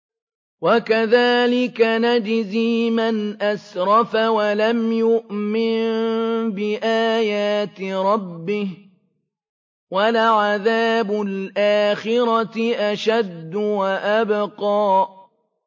وَكَذَٰلِكَ نَجْزِي مَنْ أَسْرَفَ وَلَمْ يُؤْمِن بِآيَاتِ رَبِّهِ ۚ وَلَعَذَابُ الْآخِرَةِ أَشَدُّ وَأَبْقَىٰ